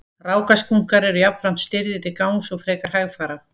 Rákaskunkar eru jafnframt stirðir til gangs og frekar hægfara.